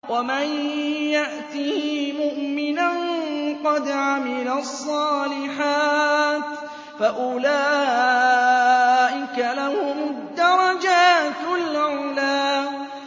وَمَن يَأْتِهِ مُؤْمِنًا قَدْ عَمِلَ الصَّالِحَاتِ فَأُولَٰئِكَ لَهُمُ الدَّرَجَاتُ الْعُلَىٰ